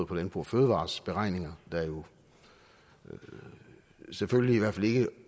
på landbrug fødevarers beregninger der selvfølgelig i hvert fald ikke